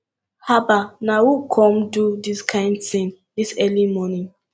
haba na who come do dis kin thing dis early morning